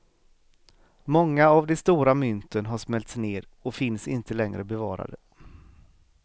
Många av de stora mynten har smälts ner och finns inte längre bevarade.